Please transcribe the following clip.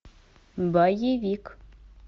боевик